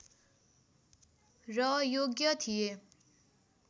र योग्य थिए